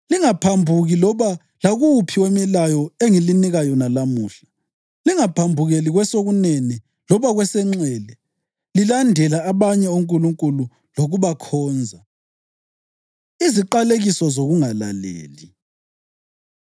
Lingaphambuki loba lakuwuphi wemilayo engilinika yona lamuhla, lingaphambukeli kwesokunene loba kwesenxele, lilandela abanye onkulunkulu lokubakhonza.” Iziqalekiso Zokungalaleli